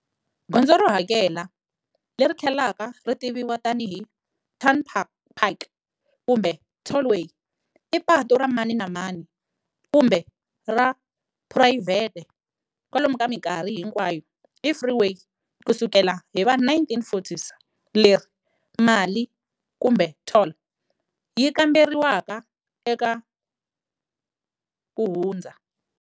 Gondzo ro hakela, leri tlhelaka ri tiviwa tani hi turnnpike kumbe tollway, i patu ra mani na mani kumbe ra phurayivhete, kwalomu ka minkarhi hinkwayo i freeway kusukela hiva 1940s, leri mali, kumbe"toll", yi kamberiwaka eka ku hundza.